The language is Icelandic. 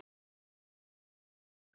Þín Klara Rut.